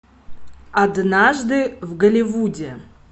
однажды в голливуде